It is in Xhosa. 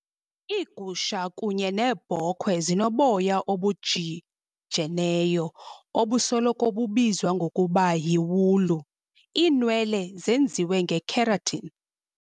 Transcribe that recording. Iigusha kunye neebhokhwe zinoboya obujijeneyo, obusoloko bubizwa ngokuba yiwulu. iinwele zenziwe ngekeratin.